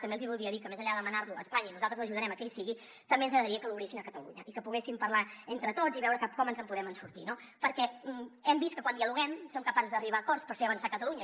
també els hi voldria dir que més enllà de demanar lo a espanya i nosaltres ajudarem a que hi sigui també ens agradaria que l’obrissin a catalunya i que poguéssim parlar entre tots i veure com ens en podem sortir no perquè hem vist que quan dialoguem som capaços d’arribar a acords per fer avançar catalunya